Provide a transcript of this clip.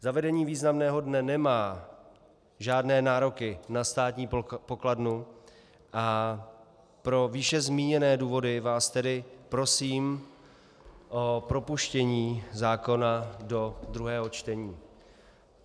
Zavedení významného dne nemá žádné nároky na státní pokladnu, a pro výše zmíněné důvody vás tedy prosím o propuštění zákona do druhého čtení.